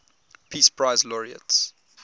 peace prize laureates